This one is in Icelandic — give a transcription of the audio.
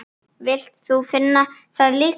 Vilt þú finna það líka?